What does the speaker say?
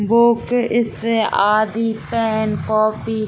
book इत्यादि pen copy --